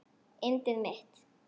Yndið mitt!